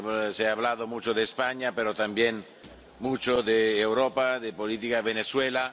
Se ha hablado mucho de España, pero también mucho de Europa y de la política en Venezuela.